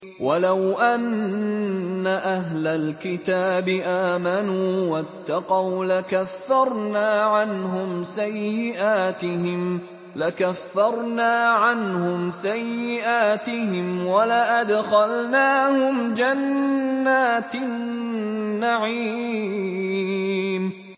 وَلَوْ أَنَّ أَهْلَ الْكِتَابِ آمَنُوا وَاتَّقَوْا لَكَفَّرْنَا عَنْهُمْ سَيِّئَاتِهِمْ وَلَأَدْخَلْنَاهُمْ جَنَّاتِ النَّعِيمِ